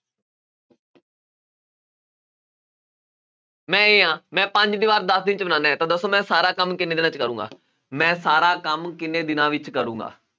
ਮੈਂ a ਹਾਂ, ਮੈਂ ਪੰਜ ਦੀਵਾਰ ਦਸ ਦਿਨ 'ਚ ਬਣਾਉਂਨਾ ਹੈ ਤਾਂ ਦੱਸੋ ਮੈਂ ਸਾਰਾਂ ਕੰਮ ਕਿੰਨੇ ਦਿਨਾਂ ਵਿੱਚ ਕਰਾਂਗਾ ਮੈਂ ਸਾਰਾ ਕੰਮ ਕਿੰਨੇ ਦਿਨਾਂ ਵਿੱਚ ਕਰਾਂਗਾ।